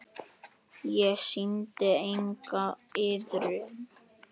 Ég sýndi enga iðrun.